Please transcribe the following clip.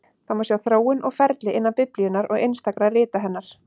Það má sjá þróun og ferli innan Biblíunnar og einstakra rita hennar.